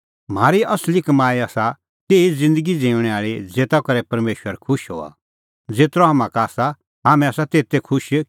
म्हारी असली कमाई आसा तेही ज़िन्दगी ज़िऊंणीं ज़ेता करै परमेशर खुश हआ और ज़ेतरअ हाम्हां का आसा हाम्हैं आसा तेथै खुश